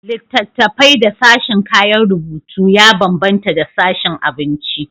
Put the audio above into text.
Littattafai da sashin kayan rubutu ya bambanta da sashin abinci.